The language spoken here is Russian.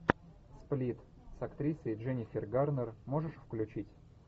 сплит с актрисой дженнифер гарнер можешь включить